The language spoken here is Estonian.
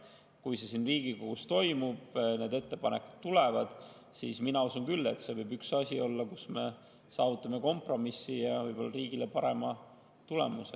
Kui see siin Riigikogus toimub, need ettepanekud tulevad, siis mina usun küll, et see võib olla üks asi, kus me saavutame kompromissi ja riigile parema tulemuse.